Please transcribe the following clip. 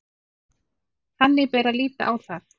Þannig bera að líta á það